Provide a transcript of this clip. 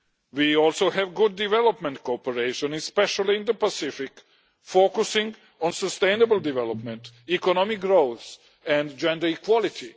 We also have good development cooperation, especially in the Pacific, focusing on sustainable development, economic growth and gender equality.